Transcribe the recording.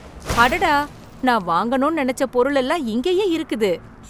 அடடா! நான் வாங்கணும்னு நெனச்ச பொருள் எல்லாம் இங்கேயே இருக்குது.!